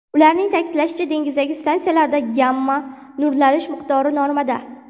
Ularning ta’kidlashicha, dengizdagi stansiyalarda gamma-nurlanish miqdori normada.